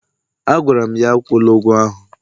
Agwara m ya, akwụla ụgwọ ahụ!